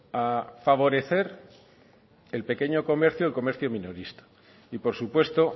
a favorecer el pequeño comercio el comercio minorista y por supuesto